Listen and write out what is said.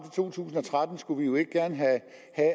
to tusind og tretten skulle vi jo ikke gerne have